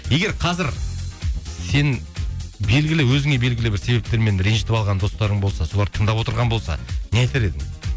егер қазір сен белгілі өзіңе белгілі бір себептермен ренжітіп алған достарың болса солар тыңдап отырған болса не айтар едің